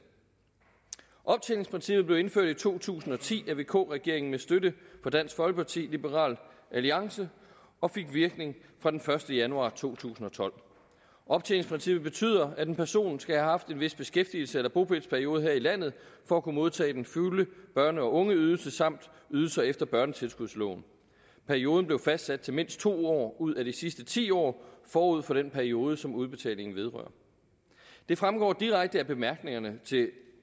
optjeningsprincippet blev indført i to tusind og ti af vk regeringen med støtte fra dansk folkeparti og liberal alliance og fik virkning fra den første januar to tusind og tolv optjeningsprincippet betyder at en person skal have haft en vis beskæftigelses eller bopælsperiode her i landet for at kunne modtage den fulde børne og ungeydelse samt ydelser efter børnetilskudsloven perioden blev fastsat til mindst to år ud af de sidste ti år forud for den periode som udbetalingen vedrører det fremgår direkte af bemærkningerne til